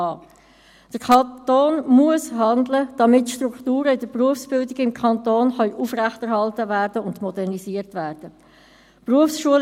Der Kanton muss handeln, damit die Strukturen der Berufsbildung im Kanton aufrechterhalten und modernisiert werden können.